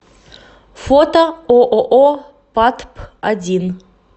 фото ооо патп один